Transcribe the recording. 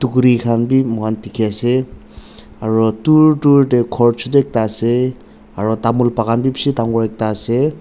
kuri khan b moi khan dikhi ase aro dur dur tey ghor chutu ekta ase aro tamul bakhan b bishi dangor ekta ase.